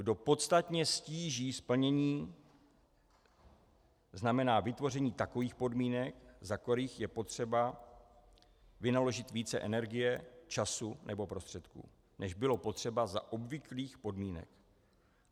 Kdo podstatně ztíží splnění - znamená vytvoření takových podmínek, za kterých je potřeba vynaložit více energie, času nebo prostředků, než bylo potřeba za obvyklých podmínek.